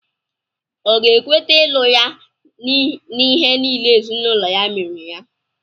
Ọ̀ ga-ekweta ịlụ ya n'ihe niile ezinụlọ ya mere ya?